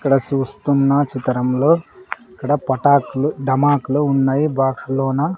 ఇక్కడ సూస్తున్న చితరం లో ఇక్కడ పటాకులు డమాకులు ఉన్నాయి బాక్స్ లోన.